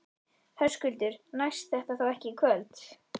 Höskuldur: Næst þetta þá ekki í kvöld?